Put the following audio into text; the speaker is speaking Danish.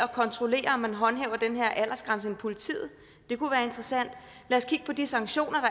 kontrollere at man håndhæver den her aldersgrænse end politiet det kunne være interessant lad os kigge på de sanktioner